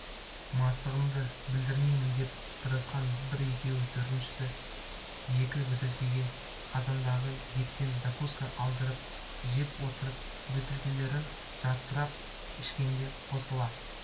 мастығымды білдірмейін деп тырысқан бір-екеуі төртінші екі бөтелкеге қазандағы еттен закуска алдырып жеп отырып бөтелкелерін жартылап ішкенде қосыла